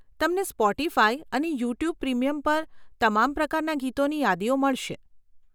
તમને સ્પોટીફાય અને YouTube premium પર તમામ પ્રકારના ગીતોની યાદીઓ મળશે.